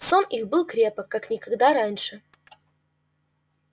сон их был крепок как никогда раньше